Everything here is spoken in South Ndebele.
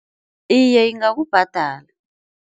Iye ingakubhadala.